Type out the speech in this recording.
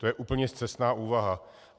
To je úplně scestná úvaha.